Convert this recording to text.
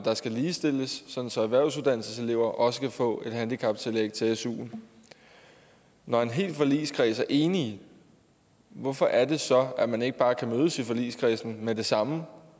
der skal ligestilles sådan at erhvervsuddannelseselever også kan få et handicaptillæg til suen når en hel forligskreds er enig hvorfor er det så at man ikke bare kan mødes i forligskredsen med det samme